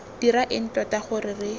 dira eng tota gore re